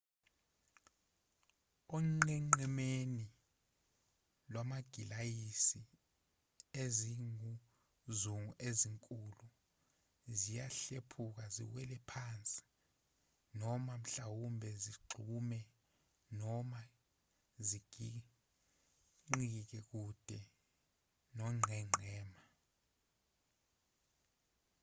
onqenqemeni lwamagilasiya izinguzungu ezinkulu ziyahlephuka ziwele phansi noma mhlawumbe zigxume noma zigingqikele kude nongqengqema